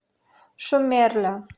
шумерля